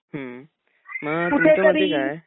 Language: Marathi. हम्म मग तुमच्या मते काय